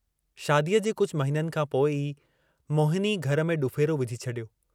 शादीअ जे कुझु महिननि खां पोइ ई मोहिनी घर में ॾुफ़ेरो विझी छॾियो।